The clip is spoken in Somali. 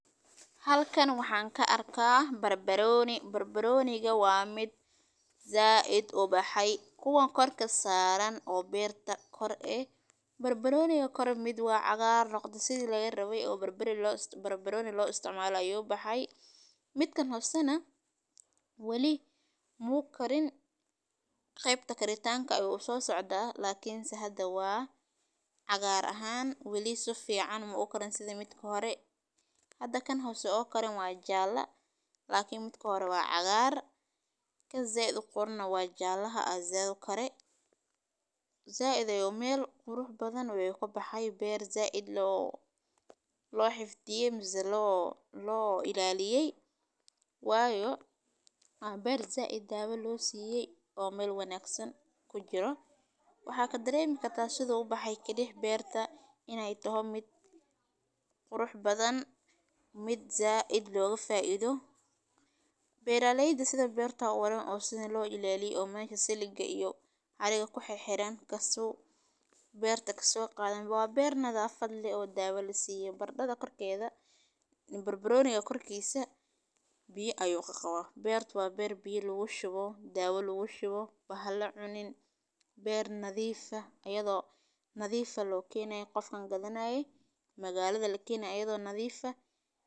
Halkan waxaan ka arkaa barbarooni, waa mid zaid u baxay, kuwan korka saaran oo beerta kor ee. Barbarooniga kore mid wa cagaar noqde sida lagarabe, waa nooc ka mid ah khudaarta leh dhadhan oo aad u qiiro badan oo lagu darsado cuntada si loo siiyo macaan iyo dhanaan jaban oo ay dadku kala jeclaan yihiin, gaar ahaan marka lagu daro maraq, baasto, iyo canjeero, waxaana lagu isticmaalaa qaabab kala duwan sida in lagu shiido, lagu dubo, ama lagu dhammeeyo siro loogu talagalay in laga sameeyo suugo, waxayna leedahay faa’iidooyin caafimaad oo ay kamid yihiin inay ka hortagto kansar, yareeyo miiriska qofka, iyo gargaarka caafimaadka wadnaha, sidaas darteed dad badan .